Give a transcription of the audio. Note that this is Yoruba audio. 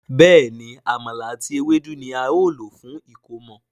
Béèni Àmàlà àti Ewédú ní ào ló fún ẹkọmọ.